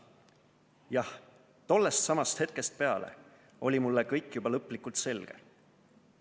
Jah, tollestsamast hetkest peale oli mulle kõik juba lõplikult selge.